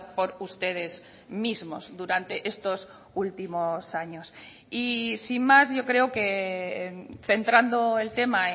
por ustedes mismos durante estos últimos años y sin más yo creo que centrando el tema